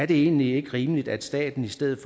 det egentlig ikke rimeligt at staten i stedet